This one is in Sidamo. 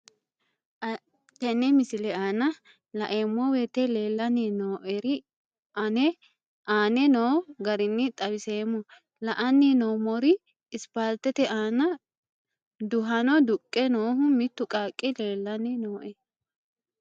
Tenne misile aana laeemmo woyte leelanni noo'ere aane noo garinni xawiseemmo. La'anni noomorri isipaalitete aana duhanno duqqe noohu mittu qaaqi leelanni nooe.